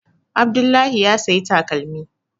Abdullahi ya saya takalmi